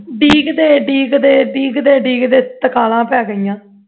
ਡੀਕਦੇ ਡੀਕਦੇ ਡੀਕਦੇ ਡੀਕਦੇ ਤਰਕਾਲਾਂ ਪੈਗਈਆਂ